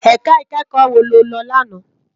Èká ikèékò wó ló lò làná?